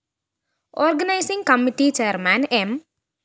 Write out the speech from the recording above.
organising committee chairman M